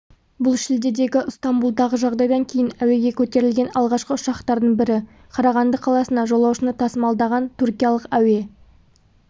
бұл шілдедегі ыстамбұлдағы жағдайдан кейін әуеге көтерілген алғашқы ұшақтардың бірі қарағанды қаласына жолаушыны тасымалдаған түркиялық әуе